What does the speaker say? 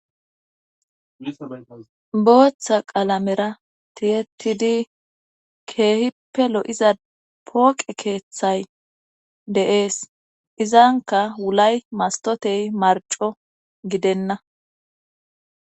bootha qalamera tiyettidi keehippe lo7iza pooqe keeththay de7ees;izankka wulay mastoote marcco gidenna.